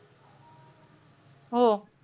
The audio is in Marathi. हो.